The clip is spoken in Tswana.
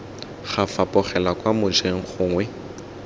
ga fapogelwa kwa mojeng gongwe